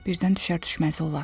Birdən düşər-düşməz olar.